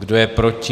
Kdo je proti?